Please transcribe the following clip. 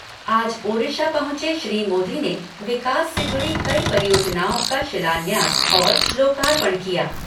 आज ओडिशा पहुंचे श्री मोदी ने विकास से जुड़ी कई परियोजनाओं का शिलान्यास और लोकार्पण किया।